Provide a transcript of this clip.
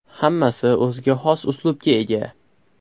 Hammasi o‘ziga xos uslubga ega.